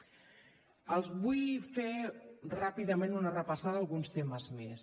els vull fer ràpidament una repassada a alguns temes més